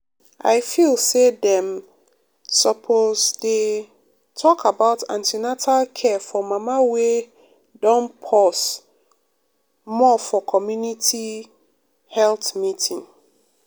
i feel say dem um suppose dey um talk about an ten atal care for mama wey don pause more for community um health meeting.